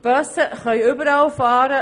Die Busse können überall fahren;